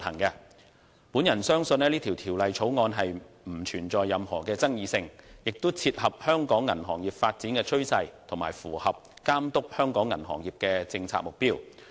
我相信本《條例草案》不存在任何爭議性，亦切合香港銀行業發展趨勢，以及符合規管香港銀行業的政策目標。